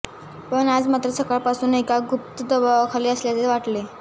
पण आज मात्र सकाळपासून एका सुप्त दबावाखाली असल्यासारखे वाटले